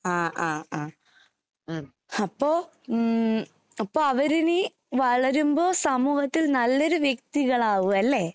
ആഹ് ആഹ് ആഹ്. ഉം അപ്പൊ ഉം അപ്പൊ അവരിനി വളരുമ്പോൾ സമൂഹത്തിൽ നല്ലൊരു വ്യക്തികളാകുവല്ലേ.